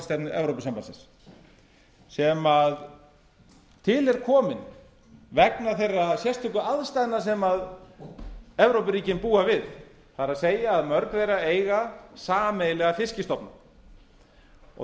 sjávarútvegsstefnu evrópusambandsins sem til er komin vegna þeirra sérstöku aðstæðna sem evrópuríkin búa við það er að mörg þeirra eiga sameiginlega fiskstofna